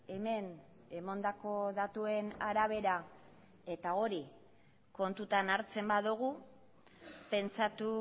hemen emandako datuen arabera eta hori kontutan hartzen badugu pentsatu